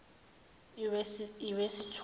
iwesithupha